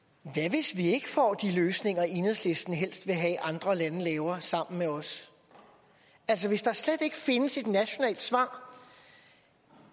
hvis vi ikke får de løsninger enhedslisten helst vil have andre lande laver sammen med os altså hvis der slet ikke findes et nationalt svar